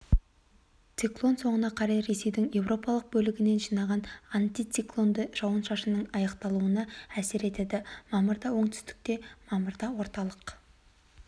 циклон соңына қарай ресейдің еуропалық бөлігінен жылжиған антициклон жауын-шашынның аяқталуына әсер етеді мамырда оңтүстікте мамырда орталық